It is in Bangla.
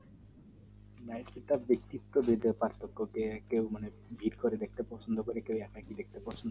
সেটা ব্যক্তিত্বের ব্যাপার মানে কেও মানে ভিড় করে দেখতে পছন্দ করে কেও একা একি দেখতে পছন্দ করে